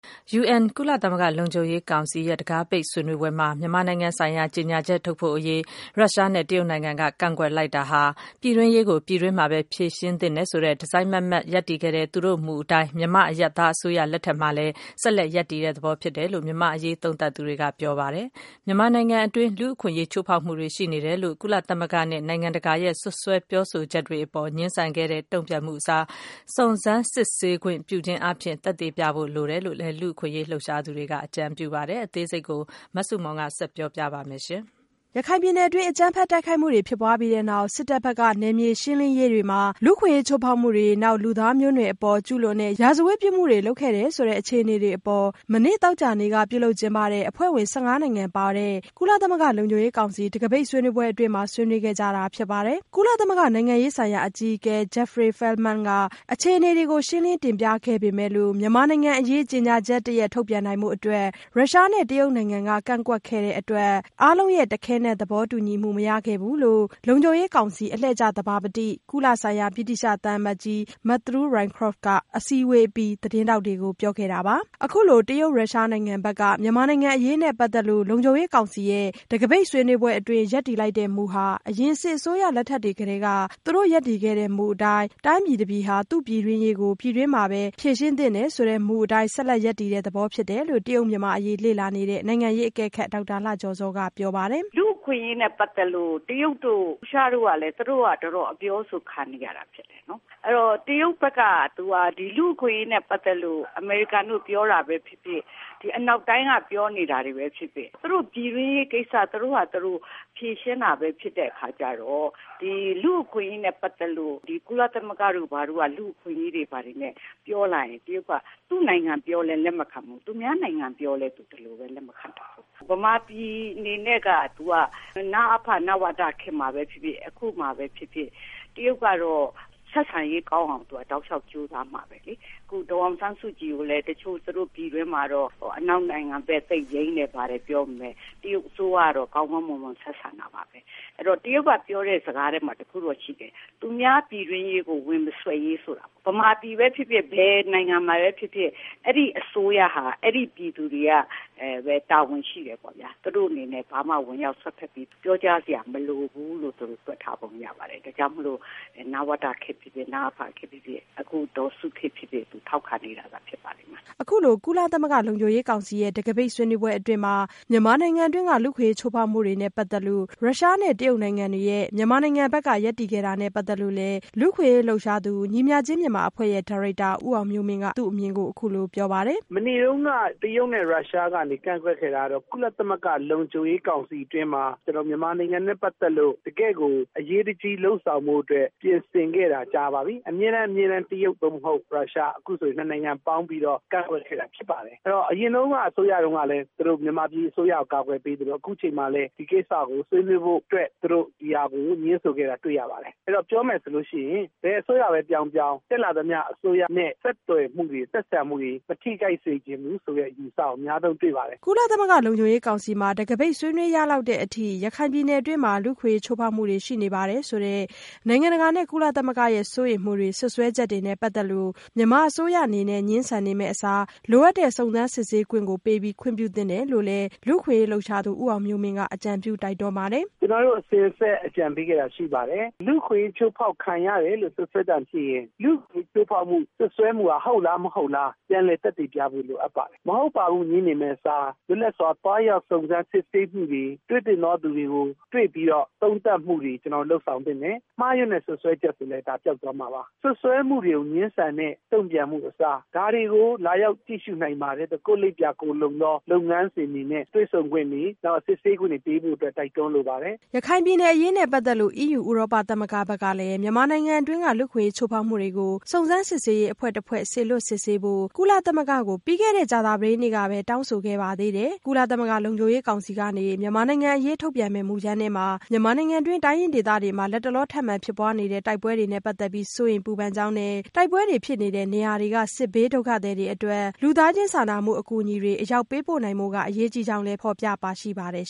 UN ကုလသမဂ္ဂလုံခြုံရေးကောင်စီရဲ့ တံခါးပိတ်ဆွေးနွေးပွဲမှာ မြန်မာနိုင်ငံဆိုင်ရာ ကြေညာ ချက် ထုတ်ဖို့အရေး ရုရှားနဲ့ တရုတ်နိုင်ငံက ကန့်ကွက်လိုက်တာဟာ ပြည်တွင်းရေး ကို ပြည်တွင်းမှာပဲ ဖြေရှင်းသင့်တယ်ဆိုတဲ့ တစိုက်မတ်မတ်ရပ်တည်ခဲ့တဲ့ သူတို့မူအတိုင်း မြန်မာ အရပ်သားအစိုးရ လက်ထက်မှာလည်း ဆက်ရပ်တည်တဲ့ သဘော ဖြစ်တယ်လို့ မြန်မာ့အရေးသုံးသပ်သူတွေကပြောဆိုလိုက်ပါတယ်။ မြန်မာနိုင်ငံတွင်း လူ့အခွင့်အရေးချိုးဖောက်မှုတွေရှိနေတယ်လို့ ကုလသမဂ္ဂနဲ့ နိုင်ငံတကာရဲ့ စွပ်စွဲပြောဆို ချက်တွေအပေါ် ငြင်းဆန်တဲ့ တုန့်ပြန်မှုအစား စုံစမ်းစစ်ဆေးခွင့်ပြုခြင်းအားဖြင့် သက်သေပြ ဖို့လိုတယ်လို့လည်း လူ့အခွင့်အရေးလှုပ်ရှားသူတွေက အကြံပြုပါတယ်။ အသေးစိတ်ကို မဆုမွန် ဆက်ပြောပြပါမယ်။ ရခိုင်ပြည်နယ်တွင်း အကြမ်းဖက်တိုက်ခိုက်မှုတွေဖြစ်ပွားပြီးနောက် စစ်တပ်ဘက်က နယ်မြေရှင်းလင်းရေးတွေမှာ လူ့အခွင့်အရေး ချိုးဖောက်မှုတွေ၊ လူသားမျိုးနွယ်အပေါ် ကျူးလွန်တဲ့ ရာဇဝတ်ပြစ်မှုတွေ လုပ်ခဲ့တယ်ဆိုတဲ့ အခြေအနေတွေအပေါ် မနေ့သောကြာနေ့က ပြုလုပ်ကျင်းပတဲ့ အဖွဲ့ဝင် နိုင်ငံပါတဲ့ ကုလသမဂ္ဂလုံခြုံရေးကောင်စီ တံခါးပိတ်ဆွေးနွေးပွဲ အတွင်းမှာ ဆွေးနွေးခဲ့ကြတာဖြစ်ပါတယ်။ ကုလသမဂ္ဂနိုင်ငံရေးဆိုင်ရာအကြီးအကဲ Jeffrey Feltman က အခြေအနေတွေကို ရှင်းလင်းတင်ပြခဲ့ပေမဲ့လို့ မြန်မာနိုင်ငံအရေး ကြေညာချက်တရပ် ထုတ်ပြန်နိုင်ဖို့ အတွက် ရုရှားနဲ့ တရုတ်နိုင်ငံက ကန့်ကွက်ခဲ့တဲ့အတွက် အားလုံးရဲ့တခဲနက် သဘောတူညီမှုမရခဲ့ဘူးလို့ လုံခြုံရေးကောင်စီ အလှည့်ကျသဘာပတိ ကုလဆိုင်ရာဗြိတိသျှသံအမတ်ကြီး Mattew Rycroft ကအစည်းအဝေးအပြီး သတင်းထောက်တွေကပြောခဲ့တာပါ။ အခုလို တရုတ်-ရုရှားနိုင်ငံဘက်က မြန်မာနိုင်ငံအရေးနဲ့ ပတ်သက်လို့ လုံခြုံရေးကောင်စီရဲ့ တံခါးပိတ်ဆွေးနွေးပွဲအတွင်း ရပ်တည်လိုက်တဲ့ မူဟာ အရင်စစ်အစိုးရလက်ထက်ကတည်းက သူတို့ရပ်တည်ခဲ့တဲ့မူအတိုင်း တိုင်းပြည်တပြည်ဟာ သူ့ပြည်တွင်းရေးကိုပြည်တွင်းမှာပဲ ဖြေရှင်းသင့်တယ်ဆိုတဲ့ မူအတိုင်း ဆက်လက်ရပ်တည်တဲ့သဘောဖြစ်တယ်လို့ တရုတ်-မြန်မာ့အရေးလေ့လာနေတဲ့ နိုင်ငံရေးအကဲခတ် ဒေါက်တာလှကျော်ဇော်က ပြောပါတယ်။ “ လူ့အခွင့်အရေးနဲ့ ပတ်သက်လို့ တရုတ်တို့ ရုရှားတို့ကလည်း သူတို့ တော်တော် အပြောအဆို ခံနေရတာဖြစ်တယ်။ တရုတ်ကတော့ လူ့အခွင့် အရေးနဲ့ ပတ်သက်လို့ အမေရိကန်က ပြောတာပဲဖြစ်ဖြစ် အနောက်တိုင်းက ပြောတာပဲဖြစ်ဖြစ် သူတို့ပြည်တွင်းရေးကိစ္စ သူတို့ဖာသာပဲ ဖြေရှင်း တာပဲ ဖြစ်တော့၊ ကုလသမဂ္ဂက ဒီ လူ့အခွင့်အရေးတွေ ဘာတွေနဲ့ ပြောလာရင် တရုတ်က သူ့နိုင်ငံပြောလည်း လက်မခံဘူး၊ သူများနိုင်ငံ ပြောလည်း ဒီလိုပဲ သူလက်မခံပါဘူး။ ဗမာပြည်အနေနဲ့က နဝတ နအဖ ခေတ်မှာပဲဖြစ်ဖြစ် အခုအချိန်မှာပဲ ဖြစ်ဖြစ် တရုတ်ကတော့ ဆက်ဆံရေး ကောင်းအောင် သူကတောက်လျှောက် ကြိုးစားမှာပဲလေ။ အခု ဒေါ်အောင်ဆန်းစုကြည်ကိုလည်း တချို့ သူတို့ပြည်တွင်းမှာတော့ အနောက်နိုင်ငံဘက် ယိမ်းတယ် ဘာတယ် ပြောပေမယ့်တရုတ်အစိုးရကတော့ ကောင်းကောင်းမွန်မွန် ဆက်ဆံတာပါပဲ။ တရုတ်ကပြောတဲ့ စကားထဲမှာ တခုတော့ ရှိတယ်။ သူများပြည်တွင်းရေးကို ဝင်မစွက်ရေး ဆိုတာ၊ ဗမာပြည်ပဲဖြစ်ဖြစ် ဘယ်နိုင်ငံမှာပဲဖြစ်ဖြစ် အဲဒီအစိုးရဟာ အဲဒီ ပြည်သူတွေကပဲ တာဝန်ရှိတယ်ပေ့ါလေ။ သူတို့အနေနဲ့ ဘာမှ ဝင်ရောက်စွက်ဖက်ပြီး ပြောကြားစရာ မလိုဘူးလို့ သူတို့ တွက်ထားပုံ ရပါတယ်။ ဒါကြောင့်မို့ နဝတခေတ် နအဖခေတ်ဖြစ်ဖြစ် အခု ဒေါ်စုခေတ်ဖြစ်ဖြစ် ထောက်ခံနေတာသာ ဖြစ်တယ် ” အခုလို ကုလသမဂ္ဂလုံခြုံရေးကောင်စီရဲ့ တံခါးပိတ်ဆွေးနွေးပွဲအတွင်း မြန်မာနိုင်ငံတွင်းက လူ့အခွင့်အရေးချိုးဖောက်မှုတွေနဲ့ပတ်သက်လို့ ရုရှားနဲ့ တရုတ်နိုင်ငံတွေရဲ့ မြန်မာနိုင်ငံဘက်က ရပ်တည်ခဲ့တာနဲ့ပတ်သက်လို့လည်း လူ့အခွင့်အရေးလှုပ်ရှားသူ ညီမျှခြင်းမြန်မာအဖွဲ့ရဲ့ ဒါရိုက်တာ ဦးအောင်မျိုးမင်းက သူ့အမြင်အခုလိုပြောပါတယ်။ “ မနေ့တုန်းက ရုရှားနဲ့ တရုတ်ကနေ ကန့်ကွက်ခဲ့တာကတော့ ကုလသမဂ္ဂ လုံခြုံရေးကောင်စီ အတွင်းမှာ မြန်မာနိုင်ငံနဲ့ ပတ်သက်လို့ တကယ့်ကို အရေးတကြီး လုပ်ဆောင်ဖို့အတွက် ပြင်ဆင်ခဲ့တာ ကြာပါပြီ၊ အမြဲတမ်း အမြဲတမ်း တရုတ် သို့မဟုတ် ရုရှား၊ အခုဆို ၂နိုင်ငံ ပေါင်းပြီးတော့ ကန့်ကွက်ခဲ့တာ ဖြစ်ပါတယ်။ အဲဒီတော့ အရင်တုန်းကလည်း သူတို့ မြန်မာပြည်အစိုးရကို ကာကွယ်ပေးသလို အခုအချိန်မှာလည်း ဒီကိစ္စကိုဆွေးနွေး ဖို့အတွက် သူတို့ ဒီဟာကို ငြင်းဆိုခဲ့တာတွေ့ရပါတယ်။ ပြောရမယ်ဆိုလို့ရှိရင် ဘယ်အစိုးရပဲ ပြောင်းပြောင်း တက်လာသမျှ အစိုးရနဲ့ ဆက်ဆံမှုတွေ မထိခိုက်စေချင်ဘူးဆိုတဲ့ အယူအဆကို အများဆုံးတွေ့ပါတယ် ” ကုလသမဂ္ဂလုံခြုံရေးကောင်စီမှာ တံခါးပိတ် ဆွေးနွေးရလောက်တဲ့အထိ ရခိုင်ပြည်နယ်တွင်းမှာ လူ့အခွင့်အရေးချိုးဖောက်မှုတွေ ရှိနေပါတယ်ဆိုတဲ့ နိုင်ငံတကာနဲ့ ကုလသမဂ္ဂရဲ့ စိုးရိမ်မှုတွေ စွပ်စွဲချက်တွေနဲ့ပတ်သက်လို့ မြန်မာအစိုးရအနေနဲ့ ငြင်းဆန်နေမယ့်အစား လိုအပ်တဲ့ စုံစမ်းစစ်ဆေးခွင့် ကိုပေးပြီး ခွင့်ပြုသင့်တယ်လို့ လည်း လူ့အခွင့်အရေးလှုပ်ရှားသူဦးအောင်မျိုးမင်းက အကြံပြုတိုက်တွန်းပါတယ်။ “ ကျနော်တို့ အစဉ်အဆက် အကြံပေးခဲ့တာရှိပါတယ်။ လူ့အခွင့်အရေး ချိုးဖောက်ခံရတယ်လို့ စွပ်စွဲသံကြားရင် လူ့အခွင့်အရေးချိုးဖောက် မှုဟာ ဟုတ်လား မဟုတ်ဘူးလား ပြန်လည် သက်သေပြဖို့ လိုပါတယ်။ မဟုတ်ပါဘူး ငြင်းနေမယ့်အစား လွတ်လပ်စွာ သွားရောက် စုံစမ်းခွင့်တွေ၊ တွေ့သင့်သူတွေကို တွေ့ပြီးတော့ သုံးသပ်မှုတွေ လုပ်ဆောင်သင့်တယ်။ မှားယွင်းတဲ့ စွပ်စွဲချက်ဆိုရင်လည်း ဒါပျောက်သွား မှာပါ။ စွပ်စွဲမှုတွေကို ငြင်းဆန်မယ့် တုန့်ပြန်မှုအစား ဒါတွေကို လာရောက်ကြည့်ရှု နိုင်ပါတယ်။ ကိုယ့်လိပ်ပြာ ကိုယ်လုံသော လုပ်ငန်းစဉ်တွေနဲ့ တွေ့ဆုံခွင့်တွေ စစ်ဆေးခွင့်တွေ ပေးဖို့အတွက် တိုက်တွန်းလိုပါတယ် ” ရခိုင်ပြည်နယ်အရေးနဲ့ပတ်သက်လို့ EU ဥရောပသမဂ္ဂဘက်ကလည်း မြန်မာနိုင်ငံတွင်းက လူ့အခွင့်အရေးချိုးဖောက်မှုတွေကို စုံစမ်း စစ်ဆေးရေး အဖွဲ့စေလွှတ်စုံစမ်းဖို့ ကုလသမဂ္ဂကို ပြီးခဲ့တဲ့ကြာသပတေးနေ့ကပဲ တောင်းဆိုခဲ့ပါသေးတယ်။ ကုလသမဂ္ဂလုံခြုံရေး ကောင်စီ ကနေ မြန်မာနိုင်ငံအရေးထုတ်ပြန်မယ့် မူကြမ်းထဲမှာ မြန်မာနိုင်ငံတွင်း တိုင်းရင်းဒေသတွေမှာ လတ်တလောထပ်မံဖြစ်ပွားနေတဲ့ တိုက်ပွဲတွေနဲ့ ပတ်သက်ပြီး စိုးရိမ်ပူပန်ကြောင်းနဲ့ တိုက်ပွဲဖြစ်နေတဲ့နေရာတွေက စစ်ဘေးဒုက္ခသည်တွေအတွက် လူသားချင်းစာနာမှုအကူအညီတွေ အရောက်ပေးပို့နိုင်ဖို့ အရေးကြီးကြောင်းလည်း ဖော်ပြပါရှိပါတယ်